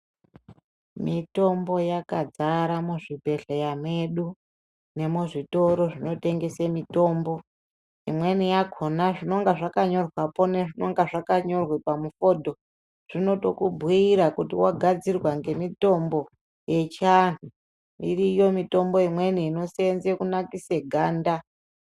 Mitombo yakadzara muzvibhedhlera medu nemuzvitoro zvinotengese mitombo imweni yakona zvinonga zvakanyorwapo nezvinonge zvakanyorwa pamufodho zvinotokubhiira kuti wagadzirwa nemitombo yechianhu, iriyo mitombo imweni inoseenze kunakise ganda.